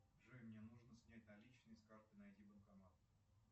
джой мне нужно снять наличные с карты найди банкомат